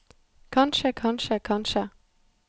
kanskje kanskje kanskje